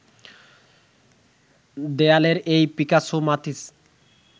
দেয়ালের এই পিকাসো মাতিস